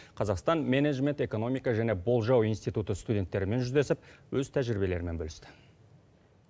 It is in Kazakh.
қазақстан менеджмент экономика және болжау институты студенттерімен жүздесіп өз тәжірибелерімен бөлісті